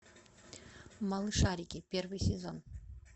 малышарики первый сезон